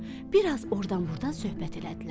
Bir az ordan-burdan söhbət elədilər.